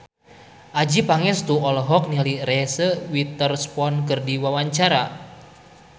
Adjie Pangestu olohok ningali Reese Witherspoon keur diwawancara